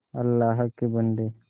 अल्लाह के बन्दे